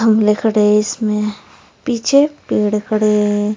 इसमें पीछे पेड़ खड़े हैं।